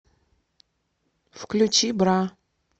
включи бра